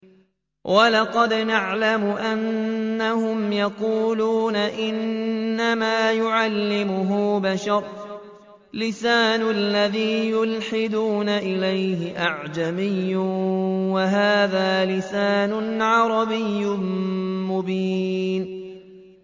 وَلَقَدْ نَعْلَمُ أَنَّهُمْ يَقُولُونَ إِنَّمَا يُعَلِّمُهُ بَشَرٌ ۗ لِّسَانُ الَّذِي يُلْحِدُونَ إِلَيْهِ أَعْجَمِيٌّ وَهَٰذَا لِسَانٌ عَرَبِيٌّ مُّبِينٌ